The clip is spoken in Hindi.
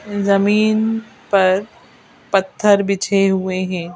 जमीन पर पत्थर बिछे हुएं हैं।